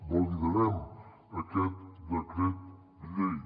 validarem aquest decret llei